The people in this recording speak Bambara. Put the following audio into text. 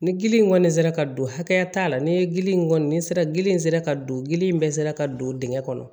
Ni gili in kɔni sera ka don hakɛya t'a la ni ye gili in kɔni ni sera gili in sera ka don gili in bɛɛ sera ka don dingɛn kɔnɔ